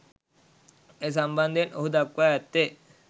ඒ සම්බන්ධයෙන් ඔහු දක්වා ඇත්තේ